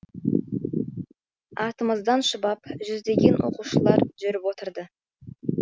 артымыздан шұбап жүздеген оқушылар жүріп отырды